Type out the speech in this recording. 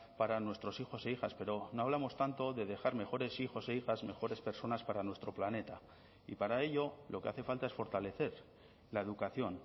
para nuestros hijos e hijas pero no hablamos tanto de dejar mejores hijos e hijas mejores personas para nuestro planeta y para ello lo que hace falta es fortalecer la educación